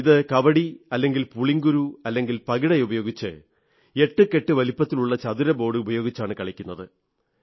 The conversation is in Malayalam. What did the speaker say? ഇത് കവടി അല്ലെങ്കിൽ പുളിങ്കുരു അല്ലെങ്കിൽ പകിട ഉപയോഗിച്ച് 88 വലിപ്പത്തിലുള്ള ചതുരബോർഡുപയോഗിച്ചാണൂ കളിക്കുന്നത്